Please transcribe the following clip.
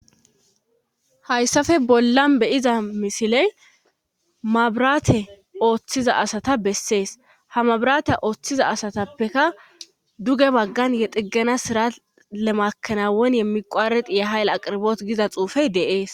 Hayssafe bollan beyiza misiley mabiraate ooththiza asata bessees ha mabiraate ooththiza asatappeka duge baggan xiggana sirat lemakanawon yemmi qowareqi ye hayle aqirboot giza xuufey deees.